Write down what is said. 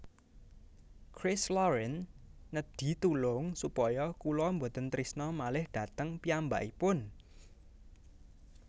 Christ Lauren nedhi tulung supaya kula mboten trisno malih dhateng piyambakipun